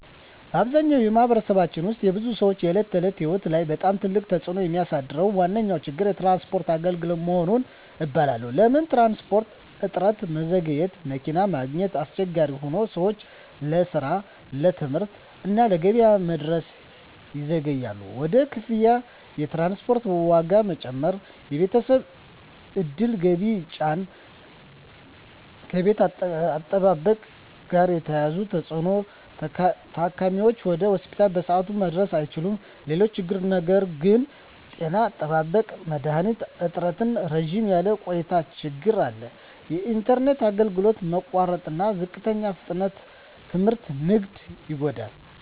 በአብዛኛው በማኅበረሰባችን ውስጥ የብዙ ሰዎች የዕለት ተዕለት ሕይወት ላይ በጣም ትልቅ ተፅዕኖ የሚያሳድረው ዋነኛ ችግር የትራንስፖርት አገልግሎት መሆኑን እባላለሁ። ለምን ትራንስፖርት? እጥረትና መዘግየት መኪና ማግኘት አስቸጋሪ ሆኖ ሰዎች ለስራ፣ ለትምህርት እና ለገበያ መድረስ ይዘገያሉ። ውድ ክፍያ የትራንስፖርት ዋጋ መጨመር የቤተሰብ ዕድል ገቢን ይጫን። ከጤና አጠባበቅ ጋር የተያያዘ ተፅዕኖ ታካሚዎች ወደ ሆስፒታል በሰዓቱ መድረስ አይችሉም። ሌሎች ችግሮች ነገር ግን… ጤና አጠባበቅ መድሀኒት እጥረትና ረዘም ያለ ቆይታ ችግር አለ። የኢንተርኔት አገልግሎት መቋረጥና ዝቅተኛ ፍጥነት ትምህርትና ንግድን ይጎዳል።